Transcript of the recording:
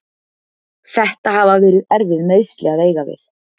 Þetta hafa verið erfið meiðsli að eiga við.